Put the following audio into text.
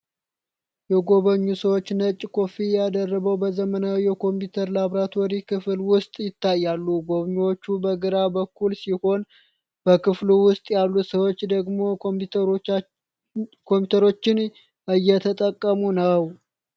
የጎበኙ ሰዎች ነጭ ኮፍያ ደርበው በዘመናዊ የኮምፒውተር ላብራቶሪ ክፍል ውስጥ ይታያሉ። ጎብኝዎች በግራ በኩል ሲሆኑ፣ በክፍሉ ውስጥ ያሉ ሰዎች ደግሞ ኮምፒውተሮችን እየተጠቀሙ ነው።